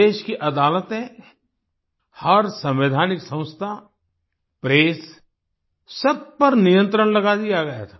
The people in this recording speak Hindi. देश की अदालतें हर संवैधानिक संस्था प्रेस सब पर नियंत्रण लगा दिया गया था